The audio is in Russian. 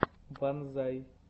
ванзай